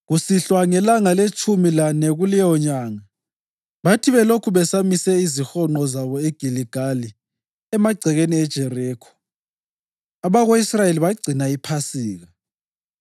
Kusihlwa ngelanga letshumi lane kuleyo nyanga, bathi belokhu besamise izihonqo zabo eGiligali emagcekeni eJerikho, abako-Israyeli bagcina iPhasika.